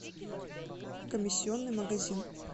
комиссионный магазин